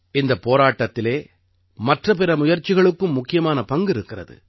இந்தப் போராட்டத்திலே மற்ற பிற முயற்சிகளுக்கும் முக்கியமான பங்கிருக்கிறது